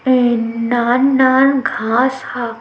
अऊ नान-नान घाँस हवे।